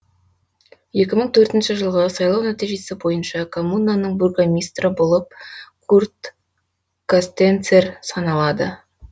екі мың төртінші жылғы сайлау нәтижесі бойынша коммунаның бургомистрі болып курт костенцер саналады